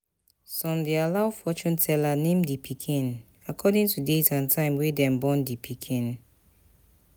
Some de allow fortune teller name di pikin according to date and time wey dem born di pikin